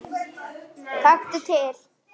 Taktu til.